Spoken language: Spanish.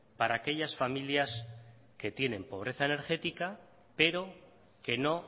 para aquellas familias que tienen pobreza energética pero que no